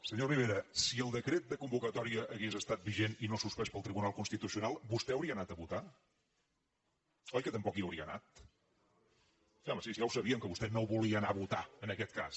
senyor rivera si el decret de convocatòria hagués estat vigent i no suspès pel tribunal constitucional vostè hauria anat a votar oi que tampoc hi hauria anat sí home si ja ho sabem que vostè no volia anar a votar en aquest cas